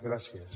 gràcies